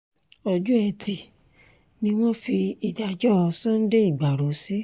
ọjọ́ etí ni wọ́n fi ìdájọ́ sunday ìgbárò sí